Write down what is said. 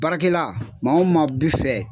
Baara kɛla maa o maa bi fɛ